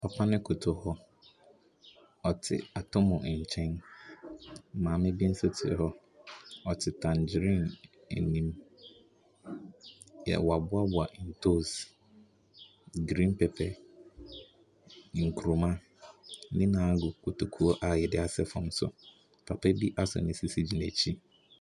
Papa no kotohɔ. Ɔte atɔmmɔ nkyɛn. Maame bi nso te hɔ. Ɔte tangrine anim. Yɛ wɔaboaboa ntoosi, green pepper, nkuruma. Ne nyinaa gu kotokuo a wɔde asɛ fam so. Papa bi asɔ ne sisi gyina akyire.